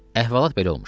Əhvalat belə olmuşdu.